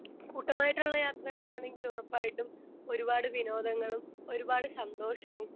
speaker 2 കൂട്ടമായിട്ടുള്ള യാത്രകളാണെങ്കിൽ ഉറപ്പായിട്ടും ഒരുപാടു വിനോദങ്ങളും ഒരുപാടു സന്തോഷവും